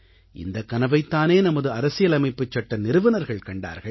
இந்தக் கனவைத் தானே நமது அரசியலமைப்புச்சட்ட நிறுவனர்கள் கண்டார்கள்